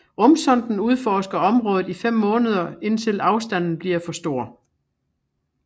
Rumsonden udforsker området i fem måneder indtil afstanden bliver for stor